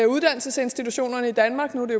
uddannelsesinstitutionerne i danmark nu er